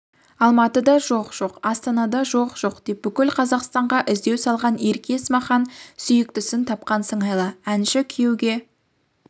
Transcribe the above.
алматыда жоқ-жоқ астанада жоқ-жоқ деп бүкіл қазақстанға іздеу салған ерке есмахан сүйіктісін тапқан сыңайлы әнші күйеуге